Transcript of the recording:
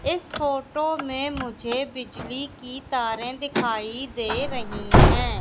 इस फोटो में मुझे बिजली की तारें दिखाई दे रही हैं।